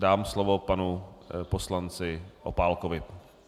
Dám slovo panu poslanci Opálkovi.